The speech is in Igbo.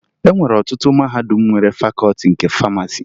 E nwere ọtụtụ mahadum nwere Fakọọti nke Famasi